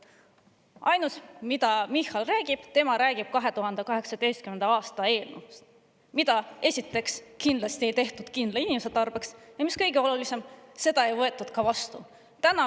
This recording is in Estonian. Ainus, millest Michal räägib, on 2018. aasta eelnõu, mida kindlasti ei tehtud kindla inimese tarbeks, ja mis kõige olulisem, seda ei võetud ka vastu.